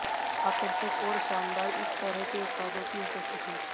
आकर्षक और शानदार इस तरह के उत्पादों की उपस्थिति